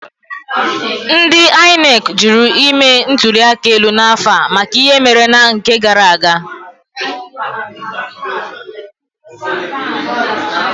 Ndị INEC jụrụ ime ntuli aka elu n'afọ a maka ihe mere na nke gara aga.